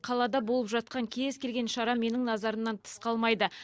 қалада болып жатқан кез келген шара менің назарымнан тыс қалмайды